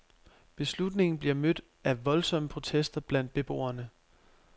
Beslutningen bliver mødt af voldsomme protester blandt beboerne.